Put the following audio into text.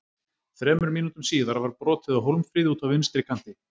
Þremur mínútum síðar var brotið á Hólmfríði úti á vinstri kanti.